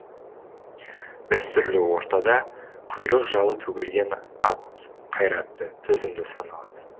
дәстүрлі ортада құйрық жалы төгілген ат қайратты төзімді саналады